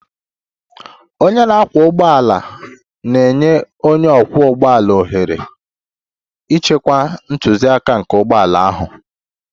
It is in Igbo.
Onye na-akwọ ụgbọala na-enye onye ọkwọ ụgbọala ohere ịchịkwa ntụziaka nke ụgbọ ala ahụ.